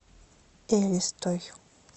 элистой